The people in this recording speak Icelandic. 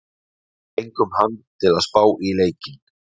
Við fengum hann til að spá í leikinn.